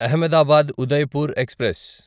Ahmedabad Udaipur express